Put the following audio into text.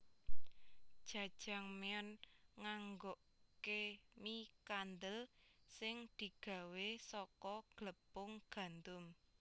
Jajangmyeon nganggokke mie kandel sing digawé saka glepung gandum